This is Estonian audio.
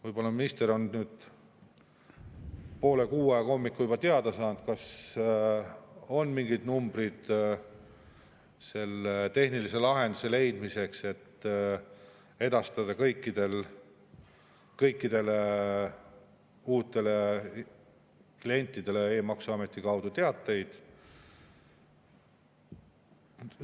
Võib-olla minister on nüüd poole kuue aeg hommikul juba teada saanud, kas on mingid numbrid selle tehnilise lahenduse leidmiseks, et edastada kõikidele uutele klientidele e‑maksuameti kaudu teateid.